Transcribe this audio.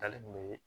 Dali kun be